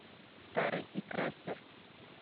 старый и крастер